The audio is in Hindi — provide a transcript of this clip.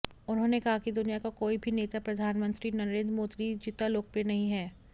उन्होंने कहा कि दुनिया का कोई भी नेता प्रधानमंत्री नरेंद्र मोदी जितना लोकप्रिय नहीं है